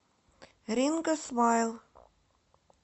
ринго смайл